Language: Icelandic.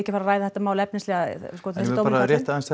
að fara ræða þetta mál efnislega en rétt aðeins